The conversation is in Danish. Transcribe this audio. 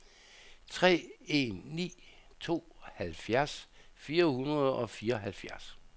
tre en ni to halvfjerds fire hundrede og fireoghalvfjerds